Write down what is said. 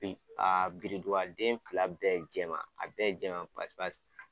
Be yen den fila bɛɛ jɛman a bɛɛ jɛman pasi pasi